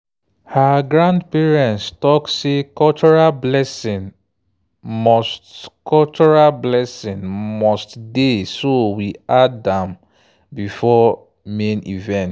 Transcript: her grandparents talk say cultural blessing must cultural blessing must dey so we add am before main event